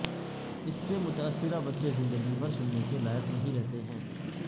اس سے متاثرہ بچے زندگی بھر سننے کے لائق نہیں رہتے ہیں